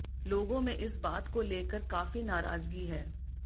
लोगों में इस बात को लेकर काफी नाराजगी है